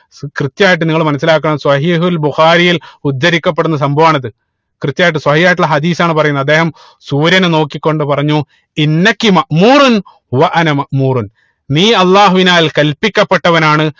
കൃത്യായിട്ട് നിങ്ങൾ മനസിലാക്കണം സ്വഹീഹുൽ ബുഖാരിയിൽ ഉദ്ധരിക്കപ്പെടുന്ന സംഭവാണത് കൃത്യായിട്ട് സ്വഹീഹായിട്ടുള്ള ഹദീസ് ആണ് പറയുന്നത് അദ്ദേഹം സൂര്യനെ നോക്കി കൊണ്ട് പറഞ്ഞു നെ അള്ളാഹുവിനാൽ കൽപിക്കപ്പെട്ടവനാണ്